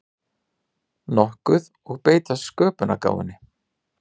nokkuð og beita sköpunargáfunni.